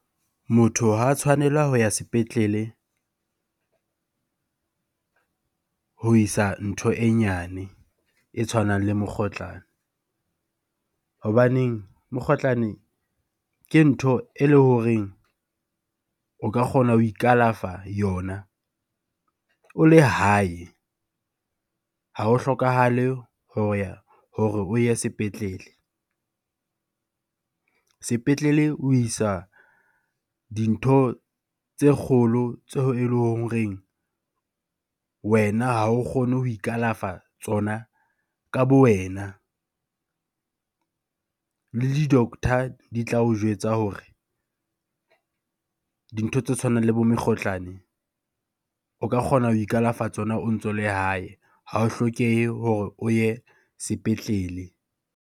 Motho ha a tshwanela ha a sepetlele ho isa ntho e nyane e tshwanang le mokgotlana. Hobaneng mokgohlane ke ntho eleng horeng o ka kgona ho ikalafa yona o le hae. Ha ho hlokahale ho ya, hore o ye sepetlele. Sepetlele o isa dintho tse kgolo tseo eleng horeng wena ha o kgone ho ikalafa ka tsona ka bo wena. Le di-doctor di tla o jwetsa hore dintho tse tshwanang le bo mekgohlane o ka kgona ho ikalafa tsona o ntso le hae. Ha o hlokehe hore o ye sepetlele.